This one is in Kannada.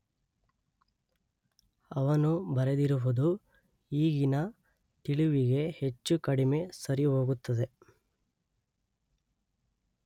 ಅವನು ಬರೆದಿರುವುದು ಈಗಿನ ತಿಳಿವಿಗೆ ಹೆಚ್ಚು ಕಡಿಮೆ ಸರಿಹೋಗುತ್ತದೆ.